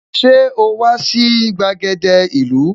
Ṣé o wà sí gbàgede ìlú?